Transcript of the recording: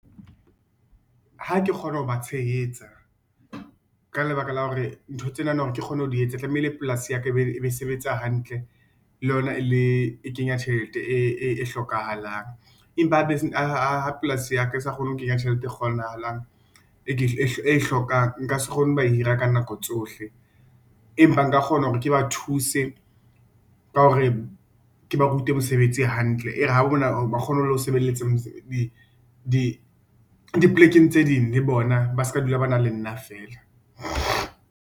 Ha ke kgona ho ba tshehetsa, ka lebaka la hore dintho tsena na hore ke kgone ho di etsa tlamehile hore polasi ya ka e be e sebetsa hantle le yona e kenya tjhelete e hlokahalang. Empa ha polasi ya ka e sa kgone ho kenya tjhelete e kgonahalang, e ke hlokang, nka se kgone ho ba hira ka nako tsohle, empa nka kgona hore ke ba thuse ka hore ke ba rute mosebetsi hantle. E re ha ba bona ba kgone ho lo sebeletsa di plekeng tse ding, le bona ba seka dula ba na le nna feela.